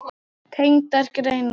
Tengdar greinar